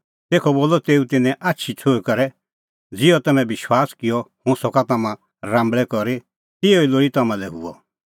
तेखअ बोलअ तेऊ तिन्नें आछी छ़ुंईं करै ज़िहअ तम्हैं विश्वास किअ कि हुंह सका तम्हां राम्बल़ै करी तिहअ ई लोल़ी तम्हां लै हुअ